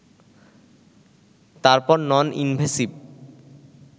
তারপর non invasive